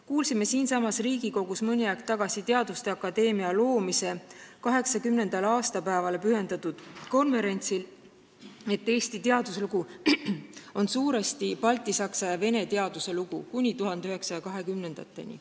Kuulsime siinsamas Riigikogus mõni aeg tagasi teaduste akadeemia loomise 80. aastapäevale pühendatud konverentsil, et Eesti teaduslugu kuni 1920. aastateni on suuresti baltisaksa ja Vene teaduse lugu.